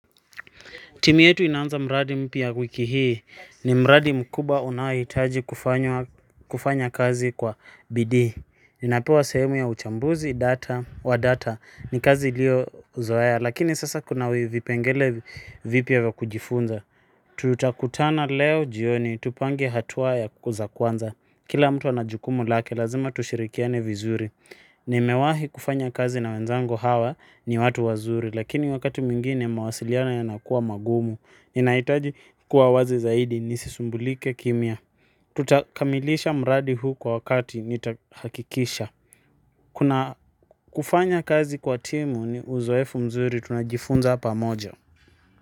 Timu yetu inaanza mradi mpya wiki hii, ni mradi mkubwa unaohitaji kufanya kazi kwa bidii. Ninapewa sehemu ya uchambuzi wa data. Ni kazi niliyozoea, lakini sasa kuna vipengele vipya vya kujifunza. Tutakutana leo jioni, tupange hatua za kwanza. Kila mtu ana jukumu lake, lazima tushirikiane vizuri. Nimewahi kufanya kazi na wenzangu hawa, ni watu wazuri, lakini wakati mwingine mawasiliano yanakuwa magumu. Ninahitaji kuwa wazi zaidi nisisumbulike kimya. Tutakamilisha mradi huu kwa wakati, nitahakikisha. Kuna, kufanya kazi kwa timu ni uzoefu mzuri, tunajifunza pamoja.